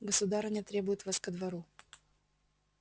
государыня требует вас ко двору